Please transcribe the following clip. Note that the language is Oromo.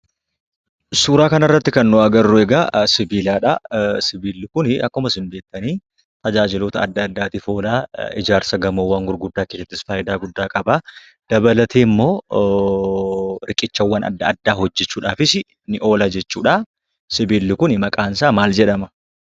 Suuraa kanarratti kan nu agarru egaa sibiiladhaa. Sibiilli kunii akkuma isin beektanii tajaajiloota adda addaatiif oola. Ijaarsa gamoowwan gurguddaa keessattis faayidaa guddaa qabaa. Dabalateemmoo riqichawwan adda addaa hojjechuudhaafisi ni oola jechuudhaa. Sibiilli kuni maqaansaa maal jedhama?